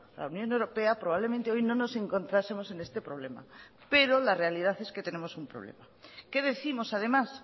la unión europea probablemente hoy no nos encontrásemos en este problema pero la realidad es que tenemos un problema qué décimos además